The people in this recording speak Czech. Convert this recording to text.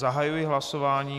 Zahajuji hlasování.